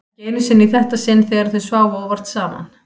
Ekki einu sinni í þetta sinn þegar þau sváfu óvart saman.